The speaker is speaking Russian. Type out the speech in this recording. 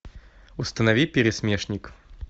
установи пересмешник